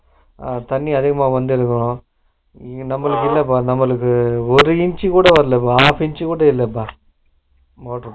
அஹ தண்ணி அதிகமா வந்துருக்கும், நம்மளுக்கு என்னப்பா நம்மளுக்கு ஒரு inch கூட வரல half inch கூட இல்லப்பா silent motor